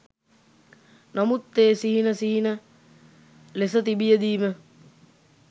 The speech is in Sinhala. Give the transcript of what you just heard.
නමුත් ඒ සිහින සිහින ලෙස තිබියදී ම